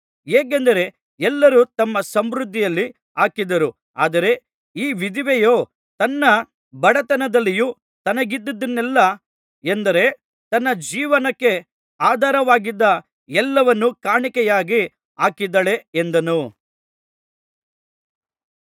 ಹೇಗೆಂದರೆ ಎಲ್ಲರೂ ತಮ್ಮ ಸಮೃದ್ಧಿಯಲ್ಲಿ ಹಾಕಿದರು ಆದರೆ ಈ ವಿಧವೆಯೋ ತನ್ನ ಬಡತನದಲ್ಲಿಯೂ ತನಗಿದ್ದದ್ದನ್ನೆಲ್ಲಾ ಎಂದರೆ ತನ್ನ ಜೀವನಕ್ಕೆ ಆಧಾರವಾಗಿದ್ದ ಎಲ್ಲವನ್ನೂ ಕಾಣಿಕೆಯಾಗಿ ಹಾಕಿದ್ದಾಳೆ ಎಂದನು